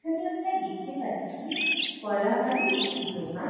এখানে আমরা দেখতে পাচ্ছি ফলাহারী একটি দোকান ।